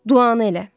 Duanı elə.